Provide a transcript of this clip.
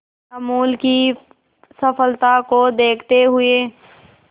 अमूल की सफलता को देखते हुए